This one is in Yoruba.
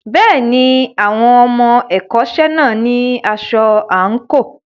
Bẹ́ẹ̀ni, àwọn ọmọ ẹ̀kọ́ṣẹ́ náà ní aṣọ àǹkóò.